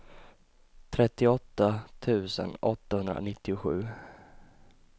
trettioåtta tusen åttahundranittiosju